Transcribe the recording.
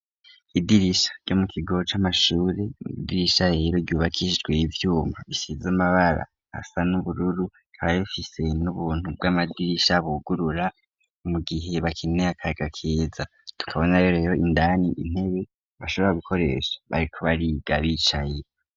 Idirisha ryo mu kigo c'amashuri, ni idirisha rero ryubakishijwe ivyuma bisize amabara asa n'ubururu, rikaba rifise n'ubuntu bw'amadirisha bugurura, mu gihe bakeneye akayaga keza. Tukabonayo rero indani intebe bashobora gukoresha bariko bariga bicaye.